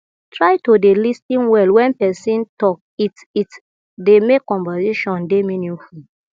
try to dey lis ten well when person talk it it dey make conversation dey meaningful